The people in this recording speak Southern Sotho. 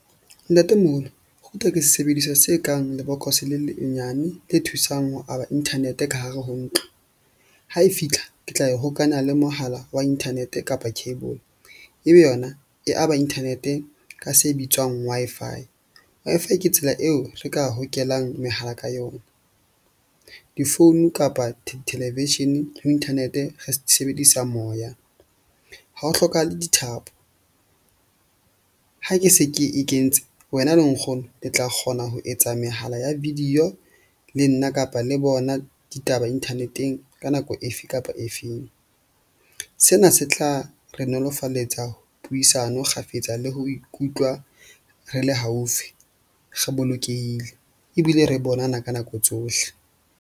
Ntatemoholo router ke sesebediswa se kang lebokose le lenyane le thusang ho aba Internet-e ka hare ho ntlo. Ha e fitlha ke tla e hokanya le mohala wa internet-e kapa cable, ebe yona e aba internet-e ka se bitswang Wi-Fi. Wi-Fi ke tsela eo re ka hokelang mehala ka yona, difounu kapa television ho internet-e re sebedisa moya ha ho hlokahale dithapo. Ha ke se ke e kentse wena le nkgono le tla kgona ho etsa mehala ya video le nna kapa le bona ditaba internet-eng ka nako efe kapa efeng. Sena se tla re nolofaletsa puisano kgafetsa le ho ikutlwa re le haufi re bolokehile ebile re bonana ka nako tsohle.